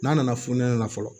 N'a nana fonɛnɛ na fɔlɔ